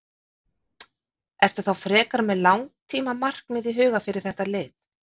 Ertu þá frekar með langtíma markmið í huga fyrir þetta lið?